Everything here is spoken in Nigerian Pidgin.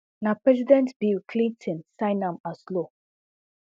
na president bill clinton sign am as law